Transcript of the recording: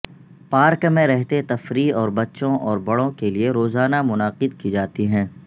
park میں رہتے تفریح اور بچوں اور بڑوں کے لئے روزانہ منعقد کی جاتی ہیں